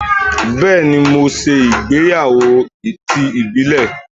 Bẹẹni, mo ṣe ìgbéyàwó ti ìbílẹ̀.